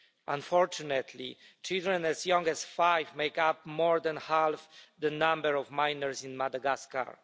Unfortunately, children as young as five make up more than half the number of miners in Madagascar.